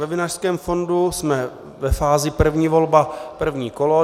Ve Vinařském fondu jsme ve fázi první volba, první kolo.